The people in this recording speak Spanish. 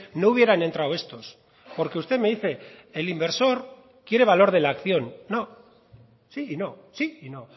no hubieran entrado estos porque usted me dice el inversor quiere valor de la acción no sí y no sí y no